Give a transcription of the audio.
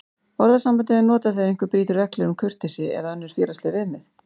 Orðasambandið er notað þegar einhver brýtur reglur um kurteisi eða önnur félagsleg viðmið.